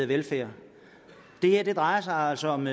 velfærd det her drejer sig altså om